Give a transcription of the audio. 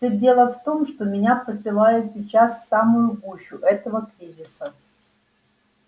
все дело в том что меня посылают сейчас в самую гущу этого кризиса